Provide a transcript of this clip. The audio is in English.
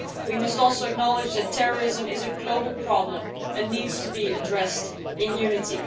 We must also acknowledge that terrorism is a global problem and needs to be addressed in unity.